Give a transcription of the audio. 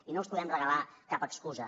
i no els podem regalar cap excusa